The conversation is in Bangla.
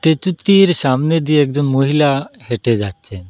টেচুতির সামনে দিয়ে একজন মহিলা হেঁটে যাচ্ছে।